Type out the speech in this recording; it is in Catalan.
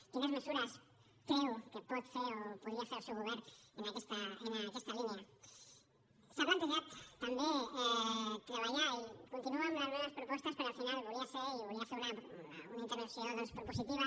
quines mesures creu que pot fer o podria fer el seu govern en aquesta línia s’ha plantejat també treballar i continuo amb les meves propostes perquè al final volia ser i volia fer una intervenció doncs propositiva